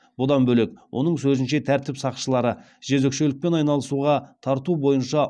бұдан бөлек оның сөзінше тәртіп сақшылары жезөкшелікпен айналысуға тарту бойынша